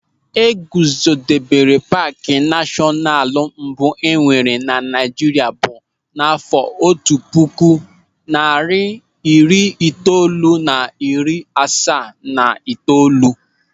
E guzobere paaki nashọnalu mbụ enwere Naịjirịa bụ n'àfọ́ otu puku narị iri itoolu na iri asaa na itoolu.